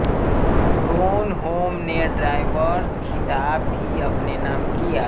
Gronholm ने drivers खिताब भी अपने नाम किया